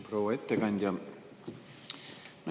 Proua ettekandja!